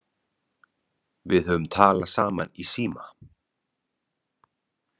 Við höfum talað saman í síma.